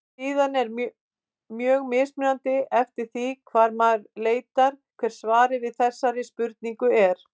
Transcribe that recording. Síðan er mjög mismunandi eftir því hvar maður leitar hvert svarið við þessari spurningu er.